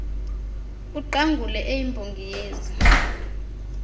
uqangule eyimbongi yezi